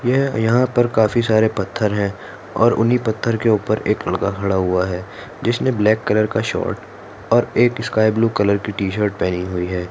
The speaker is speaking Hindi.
ये यहा पर काफी सारे पत्थर है और उन्ही पत्थर के ऊपर एक लड़क खड़ा हुआ है जिसने ब्लॅक कलर का शॉर्ट और एक स्काइ ब्लू कलर की टी शर्ट पहनी हुई है।